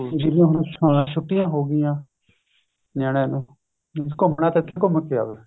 ਜਿਵੇਂ ਹੁਣ ਛੁੱਟੀਆ ਹੋ ਗਈਆ ਨਿਆਣੇ ਨੂੰ